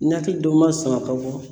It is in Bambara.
Ni hakili dɔ ma sama a ka bɔ.